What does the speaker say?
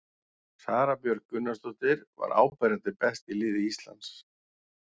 Sara Björg Gunnarsdóttir var áberandi best í liði Íslands.